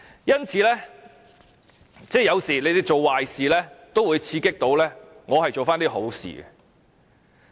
因此，有時候政府做壞事也會刺激我做一些好事。